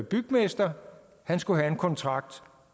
bygmester skulle have en kontrakt